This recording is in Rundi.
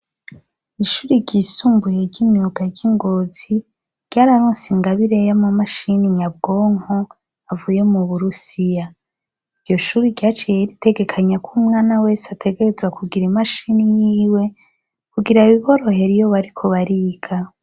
Ishuri ryisumbuye ry'imyuga ry'i Ngozi ryararonse ingabire y'amamashine nyabwonko avuye mu Uburusiya, iryo shure ryaciye ritegekanya ko umwana wese ategerezwa kugira imashine yiwe kugira biborohere iyo bariko bariga.